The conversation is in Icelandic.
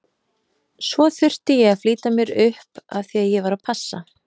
Svo þurfti ég að flýta mér upp af því að ég var að passa.